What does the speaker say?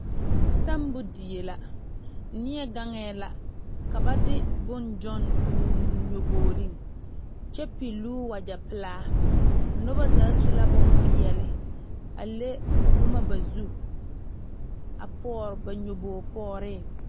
Semo die la nie gaŋe la ka ba de bonne gyane o noɔboore kyɛ pilɔ wagye pelaa noba zaa su la bonpeɛle a le boma ba zu a poɔ ba nyuboo pɛgre.